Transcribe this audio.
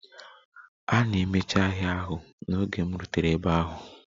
A na-emechi ahịa ahụ n'oge m rutere ebe ahụ.